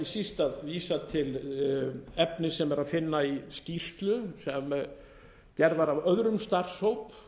síst að vísa til efnis sem er að finna i skýrslu sem gerð var af öðrum starfshóp